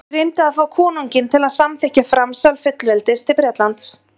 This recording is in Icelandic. þeir reyndu að fá konunginn til að samþykkja framsal fullveldis til bretlands